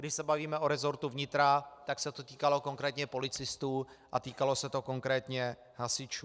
Když se bavíme o resortu vnitra, tak se to týkalo konkrétně policistů a týkalo se to konkrétně hasičů.